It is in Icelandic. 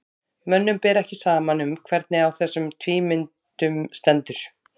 mönnum ber ekki saman um hvernig á þessum tvímyndum stendur